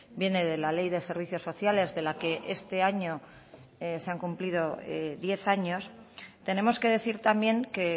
viene de la ley de servicios sociales de la que esta año se ha cumplido diez años tenemos que decir también que